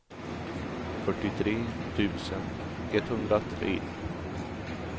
fyrtiotre tusen etthundratre